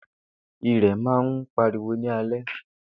Ìrẹ̀ má ń pariwo ní alẹ́.